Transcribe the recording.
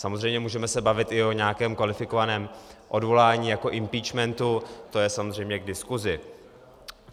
Samozřejmě se můžeme bavit i o nějakém kvalifikovaném odvolání jako impeachmentu, to je samozřejmě k diskusi.